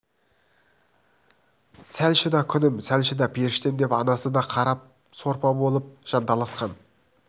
сәл шыда күнім сәл шыда періштем деп анасы да қара сорпа болып жанталасқан